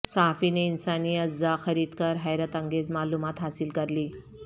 صحافی نے انسانی اعضاءخرید کر حیرت انگیز معلومات حاصل کرلیں